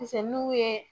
Pise n'u ye